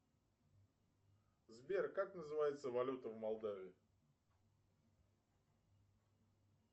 сбер как называется валюта в молдавии